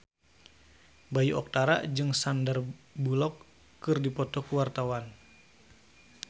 Bayu Octara jeung Sandar Bullock keur dipoto ku wartawan